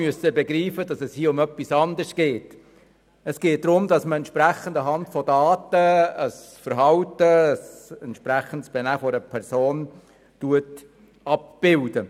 Ich begriff aber rasch, dass es darum geht, anhand von Daten ein Verhalten oder Benehmen einer Person abzubilden.